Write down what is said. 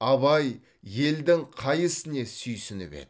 абай елдің қай ісіне сүйініп еді